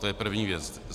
To je první věc.